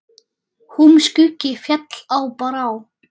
Húm skuggi féll á brá.